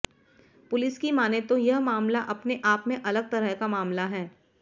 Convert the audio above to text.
police की मानें तो यह मामला अपने आप में अलग तरह का मामला है